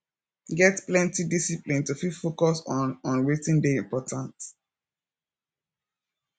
get plenty discipline to fit focus on on wetin dey important